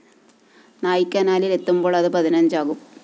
നായ്ക്കനാലില്‍ എത്തുമ്പോള്‍ അത് പതിനഞ്ചാകും